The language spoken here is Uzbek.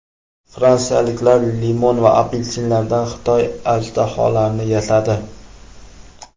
Fransiyaliklar limon va apelsinlardan Xitoy ajdaholarini yasadi .